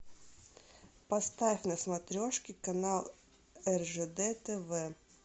поставь на смотрешке канал ржд тв